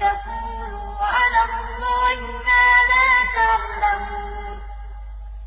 تَقُولُوا عَلَى اللَّهِ مَا لَا تَعْلَمُونَ